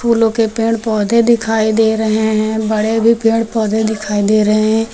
फूलों के पेड़ पौधे दिखाई दे रहे हैं बड़े भी पेड़ पौधे दिखाई दे रहे हैं।